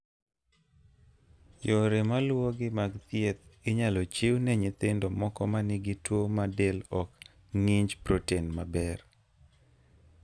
Yore maluwogi mag thieth inyalo chiw ne nyithindo moko ma nigi tuwo ma del ok ng'inj proten maber.